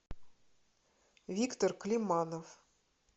виктор климанов